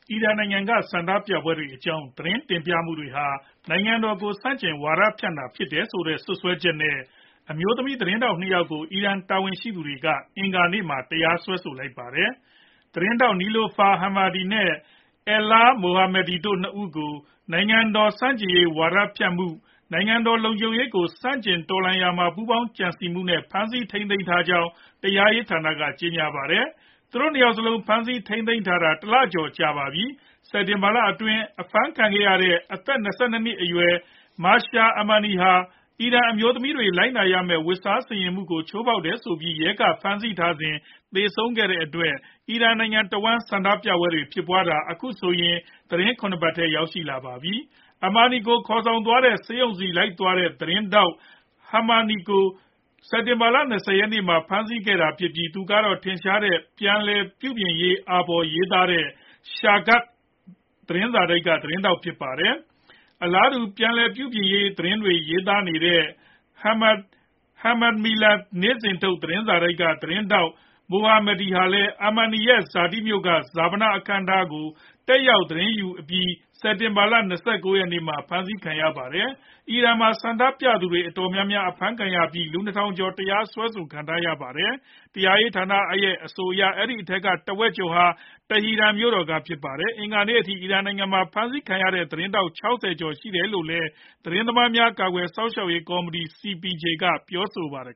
အီရန်နိုင်ငံက ဆန္ဒပြပွဲတွေအကြောင်း သတင်းတင်ပြမှုတွေဟာ နိုင်ငံတော်ကို ဆန့်ကျင်ဝါဒဖြန့်တာ ဖြစ်တယ်ဆိုတဲ့ စွပ်စွဲချက်နဲ့ အမျိုးသမီးသတင်းထောက်နှစ်ဦးကို အီရန်တာဝန်ရှိသူတွေက အင်္ဂနေ့မှာ တရားစွဲဆိုလိုက်ပါတယ်။ သတင်းထောက် Niloufar Hamedi နဲ့ Elaheh Mohammadi တို့နှစ်ဦးကို နိုင်ငံတော်ဆန့်ကျင်ရေး ဝါဒဖြန့်မှုနဲ့ နိုင်ငံတော်လုံခြုံရေးကို ဆန့်ကျင်တော်လှန်မှုမှာ ပူးပေါင်းကြံစည်မှုနဲ့ ဖမ်းဆီးထိန်းသိမ်းထားကြောင်း တရားရေးဌာနက ကြေညာပါတယ်။ သူတို့နှစ်ဦးစလုံး ဖမ်းဆီးထိန်းသိမ်းခံထားရတာ တလကျော်ကြာပါပြီ။ စက်တင်ဘာလအတွင်းအဖမ်းခံရတဲ့ အသက် ၂၂ နှစ် အရွယ် Mahsa Amini ဟာ အီရန်အမျိုးသမီးတွေ လိုက်နာရမယ့် ဝတ်စားဆင်ယင်မှုပုံစံကို ချိုးဖောက်တယ်ဆိုပြီး ရဲကဖမ်းဆီးထားစဉ် သေဆုံးသွားခဲ့တဲ့အတွက် အီရန်နိုင်ငံတဝန်းဆန္ဒပြနေကြတာ အခုဆိုရင် သီတင်းပတ် ၇ ပတ်ထဲ ရောက်လာပါပြီ။ Amini ကိုေ ခါ်သွားတဲ့ ဆေးရုံဆီလိုက်သွားတဲ့ သတင်းထောက် Hamedi ကို စက်တင်ဘာ ၂၀ ရက်နေ့မှာ ဖမ်းဆီးခဲ့တာဖြစ်ပြီး သူကတော့ ထင်ရှားတဲ့ ပြန်လည်ပြုပြင်ရေးအာဘော်တွေရေးတဲ့ Shargh သတင်းစာတိုက်ကသတင်းထောက်ဖြစ်ပါတယ်။ အလားတူပဲ ပြန်လည်ပြုပြင်ပြောင်းလဲရေးသတင်းတွေရေးတဲ့ Ham-Mihan နေ့စဉ်ထုတ်သတင်းစာတိုက်က သတင်းထောက် Mohammadi လည်း Amini ရဲ့ ဇာတိမြို့က ဈာပနအခမ်းအနားကို တက်ရောက်သတင်းယူအပြီး စက်တင်ဘာ ၂၉ ရက်နေ့မှာ အဖမ်းခံရတာဖြစ်ပါတယ်။ အီရန်မှာ ဆန္ဒပြသူတွေ အတော်များများ အဖမ်းခံရပြီး လူ၂ ထောင်ကျော် တရားစွဲခံထားရပါတယ်။ တရားရေးဌာနရဲ့အဆိုအရ အဲဒီထဲက တဝက်ကျော်က Tehran ကဖြစ်ပါတယ်။ အင်္ဂါနေ့ထိ အီရန်နိုင်ငံမှာ အဖမ်းခံထားရတဲ့ သတင်းထောက် ၆၀ ကျော်ရှိတယ်လို့လည်း သတင်းသမားများကာကွယ်စောင့်ရှောက်ရေးကော်မတီ CPJ ကပြောပါတယ်